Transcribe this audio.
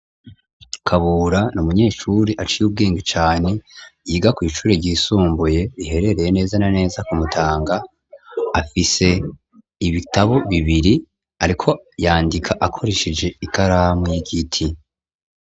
Kabura ni umunyeshuri aciye ubwenge cane yiga kw'ishure ryisumbuye riherereye neza na neza ku Mutanga, afise ibitabo bibiri ariko yandika akoresheje ikaramu y'igiti.